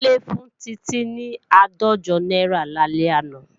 Kúnlé fún Títí ní àádọ́jọ náírà lálẹ́ àná